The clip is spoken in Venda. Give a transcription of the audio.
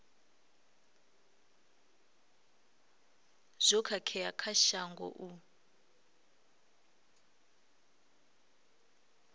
zwo khakhea kha shango u